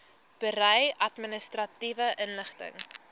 berei administratiewe inligting